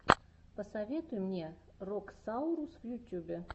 посоветуй мне роксаурус в ютьюбе